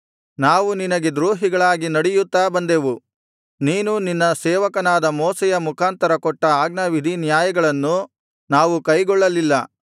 ನಾವು ನಿನಗೆ ದ್ರೋಹಿಗಳಾಗಿ ನಡೆಯುತ್ತಾ ಬಂದೆವು ನೀನು ನಿನ್ನ ಸೇವಕನಾದ ಮೋಶೆಯ ಮುಖಾಂತರ ಕೊಟ್ಟ ಆಜ್ಞಾವಿಧಿನ್ಯಾಯಗಳನ್ನು ನಾವು ಕೈಗೊಳ್ಳಲಿಲ್ಲ